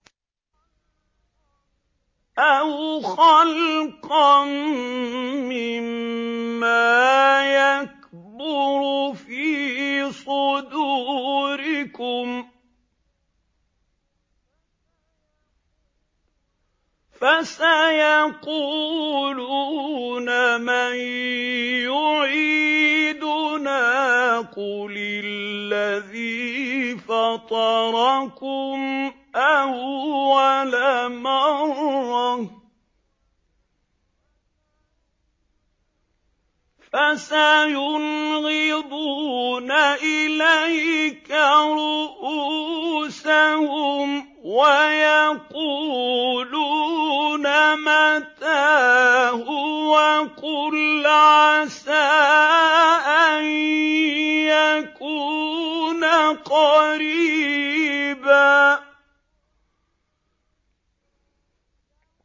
أَوْ خَلْقًا مِّمَّا يَكْبُرُ فِي صُدُورِكُمْ ۚ فَسَيَقُولُونَ مَن يُعِيدُنَا ۖ قُلِ الَّذِي فَطَرَكُمْ أَوَّلَ مَرَّةٍ ۚ فَسَيُنْغِضُونَ إِلَيْكَ رُءُوسَهُمْ وَيَقُولُونَ مَتَىٰ هُوَ ۖ قُلْ عَسَىٰ أَن يَكُونَ قَرِيبًا